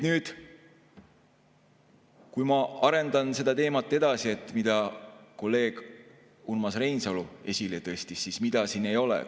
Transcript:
Nüüd ma arendan edasi seda teemat, mida kolleeg Urmas Reinsalu esile tõstis, ehk mida siin ei ole.